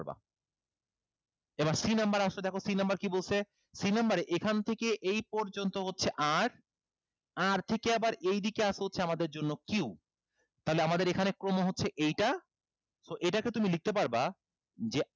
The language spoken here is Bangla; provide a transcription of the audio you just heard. এবার c number এ আসো দেখো c number কি বলছে c number এ এখান থেকে এই পর্যন্ত হচ্ছে r r থেকে আবার এইদিকে আছে হচ্ছে আমাদের জন্য q তাহলে আমাদের এইখানে ক্রম হচ্ছে এইটা so এইটাকে তুমি লিখতে পারবা যে